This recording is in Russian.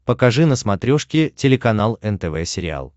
покажи на смотрешке телеканал нтв сериал